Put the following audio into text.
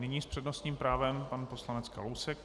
Nyní s přednostním právem pan poslanec Kalousek.